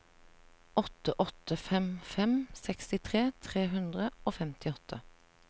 åtte åtte fem fem sekstitre tre hundre og femtiåtte